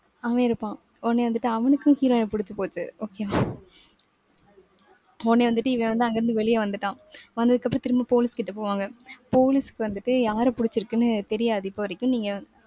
அவன் இருப்பான். உடனே வந்துட்டு அவனுக்கும் heroine அ புடிச்சு போச்சு. okay வா. உடனே வந்துட்டு இவன் வந்து அங்கிருந்து வெளியே வந்துட்டான். வந்ததுக்கப்புறம் திரும்ப police கிட்ட போவாங்க. police க்கு வந்துட்டு, யாரைப் பிடிச்சிருக்குன்னு தெரியாது. இப்ப வரைக்கும். நீங்க